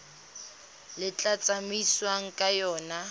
le tla tsamaisiwang ka yona